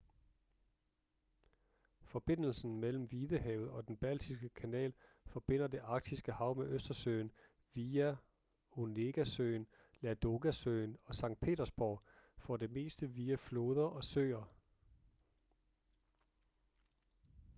forbindelsen mellem hvidehavet og den baltiske kanal forbinder det arktiske hav med østersøen via onegasøen ladogasøen og sankt petersborg for det meste via floder og søer